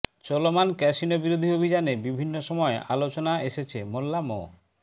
চলমান ক্যাসিনো বিরোধী অভিযানে বিভিন্ন সময় আলোচনা এসেছে মোল্লা মো